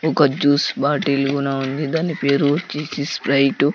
ఒక juice bottle కూడా ఉంది దాని పేరు వచ్చేసి స్ప్రైట్ .